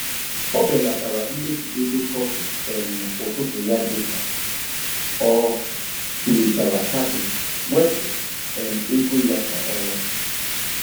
O belatara mmefu ego kọfị um ụtụtụ ya dị ka ọ tụlechara kaadị mwepụ um ego ya kwa ọnwa. um